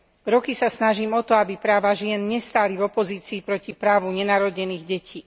Roky sa snažím o to, aby práva žien nestáli v opozícii proti právu nenarodených detí.